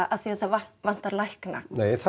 af því að það vanti lækna